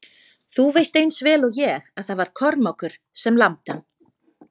Þú veist eins vel og ég að það var Kormákur sem lamdi hann.